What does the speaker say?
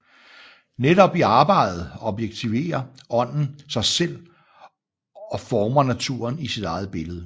Netop i arbejdet objektiverer Ånden sig selv og former naturen i sit eget billede